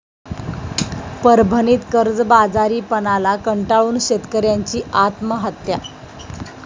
परभणीत कर्जबाजारीपणाला कंटाळून शेतकऱयाची आत्महत्या